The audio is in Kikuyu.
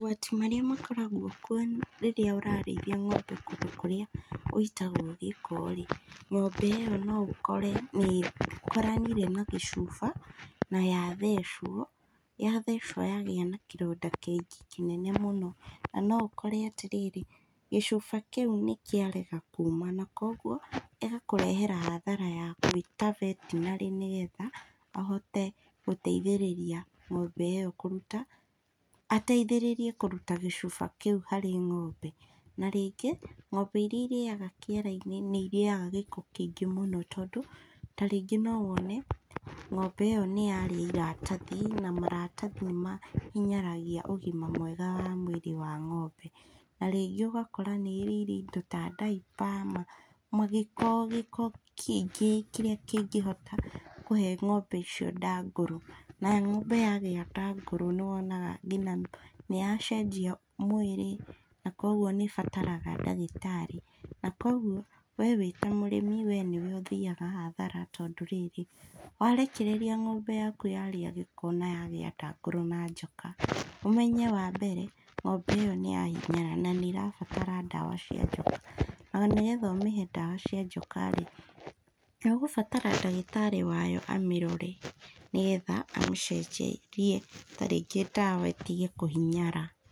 Mogwati marĩa makoragwo kuo rĩrĩa ũrarĩithia ng'ombe kũndũ kũrĩa gũitagwo gĩko rĩ, ng'ombe ĩyo noũkore nĩkoranire na gĩcuba naya thecwo, yathecwo yagĩa na kĩronda kĩngĩ kĩnene mũno, na noũkore atĩrĩrĩ, gĩcuba kĩu nĩkĩarega kuma na koguo gĩgakũrehera hathara ya gwĩta vetinary nĩgetha ahote gũteithĩrĩria ng'ombe ĩyo kũruta, ateithĩrĩrie kũruta gĩcuba kĩu harĩ ng'ombe, na rĩngĩ, ng'ombe iria iríaga kĩara-inĩ nĩirĩaga gĩko kĩingĩ mũno tondũ, ta rĩngĩ nowone, ng'ombe ĩyo nĩyarĩa maratathi, na maratathi nĩmahinyaragia ũgima mwega wa mwĩrĩ wa ng'ombe, na rĩngĩ ũgakora nĩrĩire indo ta diaper magĩko gĩko kĩingĩ kĩrĩa kĩngĩhota kũhe ng'ombe icio nda ngũrũ, na ng'ombe yagĩa nda ngũrũ nĩwonaga nginya nĩyacenjia mwĩrĩ, na koguo nĩbataraga ndagĩtarĩ, na koguo, we wĩta mũrĩmi we nĩwe ũthiaga hathara tondũ rĩrĩ, warekereria ng'ombe yaku yarĩa gĩko na yagĩa nda ngũrũ na njoka, ũmenye wambere ng'ombe ĩyo nĩyahinyara, nanĩrabatara ndawa cia njoka, nomenye nĩgetha ũmĩhe ndawa cia njoka rĩ, nĩũgũbatara ndagĩtarĩ wayo amĩrore, nĩgetha amĩcenjerie ta rĩngĩ ndawa ĩtige kũhinyara.